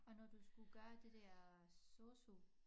Og når du skulle gøre det der sosu